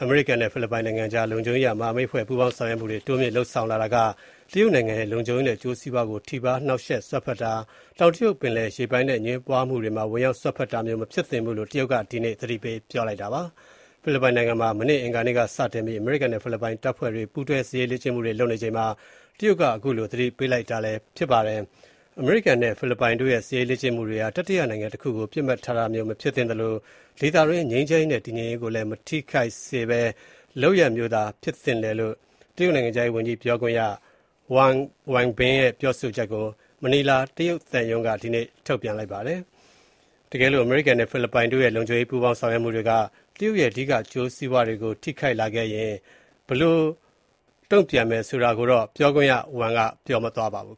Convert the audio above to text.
အမေရိကန်နဲ့ ဖိလစ်ပိုင်နိုင်ငံကြား လုံခြုံရေးအရ မဟာမိတ်ဖွဲ့ ပူးပေါင်းဆောင်ရွက်မှုတွေ တိုးမြင့်လုပ်ဆောင်လာတာက တရုတ်နိုင်ငံရဲ့ လုံခြုံရေးနဲ့ အကျိုးစီးပွားကို ထိပါး နှောက်ယှက်တာ၊ တောင်တရုတ်ပင်လယ်ပြင် ရေပိုင်နက် အငြင်းပွားမှုတွေမှာ ဝင်ရောက် စွက်ဖက်တာမျိုး မဖြစ်သင့်ဘူးလို့ တရုတ်က ဒီကနေ့ သတိပေး ပြောကြားလိုက်ပါတယ်။ ဖိလစ်ပိုင်နိုင်ငံမှာ မနေ့ အင်္ဂါနေ့ကစတင်ပြီး အမေရိကန်နဲ့ ဖိလစ်ပိုင် တပ်ဖွဲ့တွေ ပူးတွဲ စစ်ရေးလေ့ကျင့်မှုတွေ လုပ်နေချိန်မှာ တရုတ်က ခုလို သတိပေးလိုက်တာပါ။ အမေရိကန်နဲ့ ဖိလစ်ပိုင်တို့ရဲ့ စစ်ရေးလေ့ကျင့်မှုတွေဟာ တတိယနိုင်ငံတခုကို ပစ်မှတ်ထားတာမျိုး မဖြစ်သင့်သလို၊ ဒေသတွင်း ငြိမ်းချမ်းရေးနဲ့ တည်ငြိမ်ရေးကို မထိခိုက်စေတဲ့ လုပ်ရပ်မျိုးသာ ဖြစ်သင့်တယ်လို့ တရုတ်နိုင်ငံခြားရေးဝန်ကြီးဌာန ပြောခွင့်ရ ဝမ်ဝန်ဘင် (Wang Wenbin) ရဲ့ ပြောဆိုချက်ကို မနီလာ တရုတ်သံရုံးက ဒီကနေ့ ထုတ်ပြန်ပါတယ်။ တကယ်လို့ အမေရိကန်နဲ့ ဖိလစ်ပိုင်တို့ရဲ့ လုံခြုံရေး ပူးပေါင်းဆောင်ရွက်မှုတွေက တရုတ်ရဲ့ အဓိက အကျိုးစီးပွားတွေကို ထိခိုက်လာခဲ့ရင် ဘယ်လိုတုံ့ပြန်မယ်ဆိုတာကိုတော့ ပြောခွင့်ရဝမ်က မပြောသွားပါဘူး